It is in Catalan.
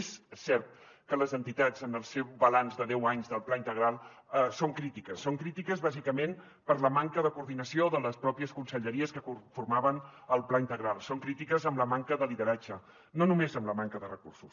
és cert que les entitats en el seu balanç de deu anys del pla integral són crítiques són crítiques bàsicament per la manca de coordinació de les mateixes conselleries que formaven el pla integral són crítiques amb la manca de lideratge no només amb la manca de recursos